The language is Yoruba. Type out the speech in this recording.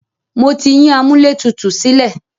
Mo ti yín amúlẹ̀tutù sílẹ̀.